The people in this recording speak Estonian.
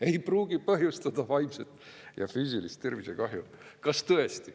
Ei pruugi põhjustada vaimset ja füüsilist tervisekahju?